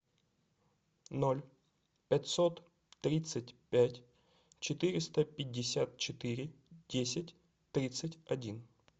ноль пятьсот тридцать пять четыреста пятьдесят четыре десять тридцать один